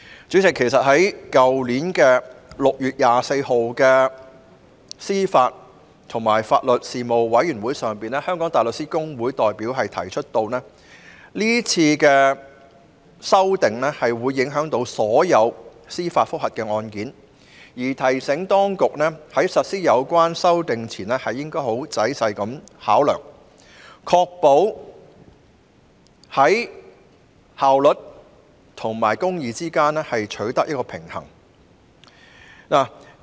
主席，其實在去年6月24日的司法及法律事務委員會會議上，香港大律師公會的代表已經指出，是次修訂將會影響所有司法覆核案件，並提醒當局在實施有關修訂前應該仔細考量，確保在效率及公義之間取得平衡。